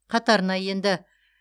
қатарына енді